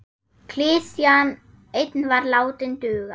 Klisjan ein var látin duga.